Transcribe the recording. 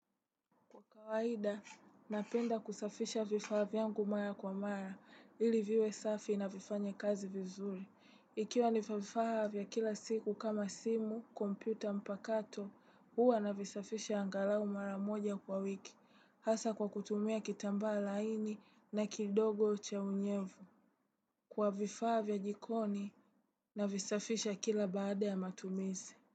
Kwa kawaida, napenda kusafisha vifaa yangu mara kwa mara, ili viwe safi na vifanye kazi vizuri. Ikiwa ni vifaa vya kila siku kama simu, kompyuta, mpakato, huwa navisafisha angalau mara moja kwa wiki, hasa kwa kutumia kitambaa laini na kidogo cha unyevu. Kwa vifaa vya jikoni, navisafisha kila baada ya matumizi.